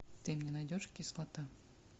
ты мне найдешь кислота